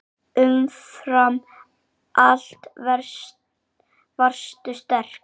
Umfram allt varstu sterk.